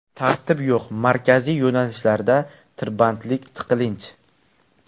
Tartib yo‘q, markaziy yo‘nalishlarda tirbandlik, tiqilinch.